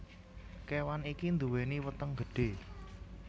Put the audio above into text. Kewan iki nduweni weteng gedhe